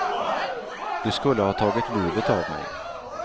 Det skulle ha tagit livet av mig.